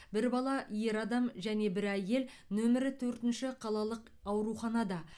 бір бала ер адам және бір әйел нөмірі төртінші қалалық ауруханада